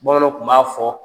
Bamananw tun b'a fɔ